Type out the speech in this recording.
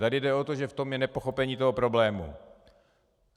Tady jde o to, že v tom je nepochopení toho problému.